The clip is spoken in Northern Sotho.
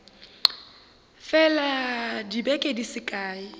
fela dibeke di se kae